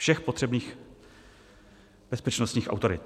Všech potřebných bezpečnostních autorit.